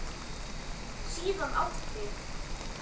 Síðan átti